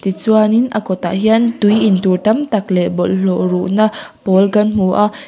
tichuanin a kawtah hian tui intur tam tak leh bawlhhlawh ruhna pawl kan hmu a.